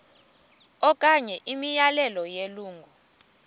okanye imiyalelo yelungu